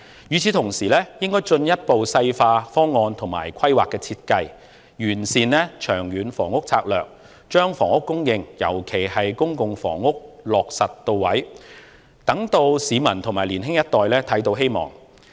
與此同時，應該進一步細化方案和規劃設計，完善長遠房屋策略，把房屋供應，尤其是公共房屋的供應落實到位，讓市民及年青一代看到希望。